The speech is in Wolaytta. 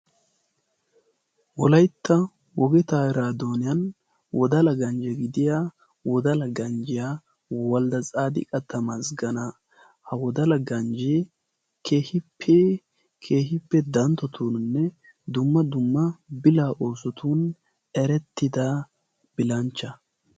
wolaitta wogetaa iraadooniyan wodala ganjje gidiya wodala ganjjiyaa waldda xaadi qattamaas gana ha wodala ganjjee kehippe keehippe danttotuoninne dumma dumma bila oosotun erettida bilanchcha